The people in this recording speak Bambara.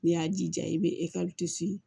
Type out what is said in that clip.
N'i y'a jija i bɛ